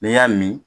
N'i y'a min